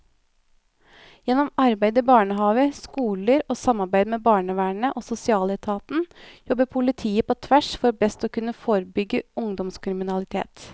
Gjennom arbeid i barnehaver, skoler og samarbeid med barnevernet og sosialetaten jobber politiet på tvers for best å kunne forebygge ungdomskriminalitet.